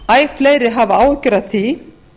æ fleiri hafa áhyggjur að því